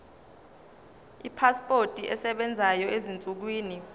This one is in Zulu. ipasipoti esebenzayo ezinsukwini